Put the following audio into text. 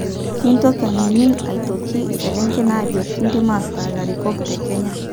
Mintoki anining aitoki iselengen ajo kidim ataa larikok te Kenya?